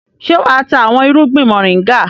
Ṣé wà á ta àwọn irúgbìn mọ̀ríngà?